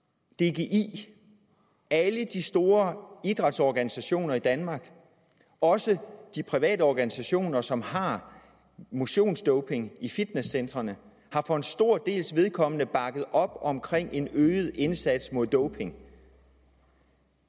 dgi alle de store idrætsorganisationer i danmark også de private organisationer som har motionsdoping i fitnesscentrene har for en stor dels vedkommende bakket op om en øget indsats mod doping og